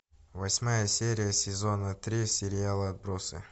восьмая серия сезона три сериала отбросы